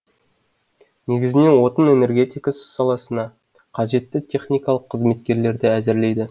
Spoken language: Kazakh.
негізінен отын энергетикасы саласына қажетті техникалық қызметкерлерді әзірлейді